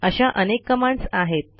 अशा अनेक कमांडस आहेत